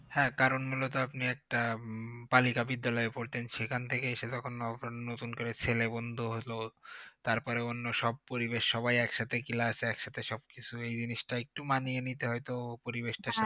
হ্যাঁ কারণ মূলত আপনি তো একটা হম বালিকা বিদ্যালয়ে পড়তেন সেখান থেকে এসে যখন নতুন করে ছেলে বন্ধু হলো তারপরে অন্যসব পরিবেশ সবাই একসাথে class সবাই একসাথে সবকিছু এই জিনিষটা একটু মানিয়ে নিতে হয়তো পরিবেশটার সাথে